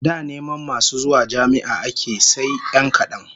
Da neman masu zuwa jami'a ake yi sai 'yan kadan